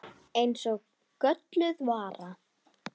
Eins og gölluð vara.